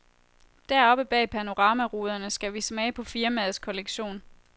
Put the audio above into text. Deroppe bag panoramaruderne skal vi smage på firmaets kollektion.